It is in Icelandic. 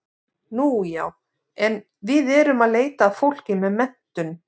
Nú já, en við erum að leita að fólki með menntun.